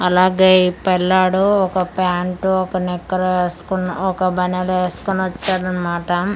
అలాగె ఈ పిల్లాడు ఒక ప్యాంటు ఒక నిక్కరు ఎస్కున్న ఒక బనిలు ఎస్కునొచ్చాడన్నమాట ఉమ్ ఆ--